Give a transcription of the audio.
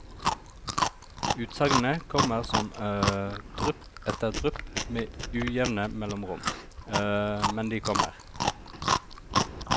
Utsagnene kommer som drypp etter drypp med ujevne mellomrom, men de kommer.